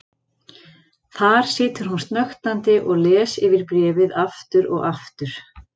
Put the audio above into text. Þar situr hún snöktandi og les yfir bréfið aftur og aftur.